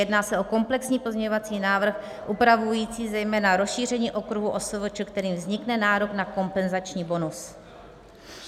Jedná se o komplexní pozměňovací návrh upravující zejména rozšíření okruhu OSVČ, kterým vznikne nárok na kompenzační bonus.